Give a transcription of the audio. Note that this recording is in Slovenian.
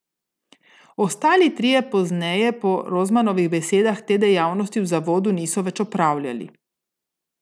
Ostali trije pozneje po Rozmanovih besedah te dejavnosti v zavodu niso več opravljali.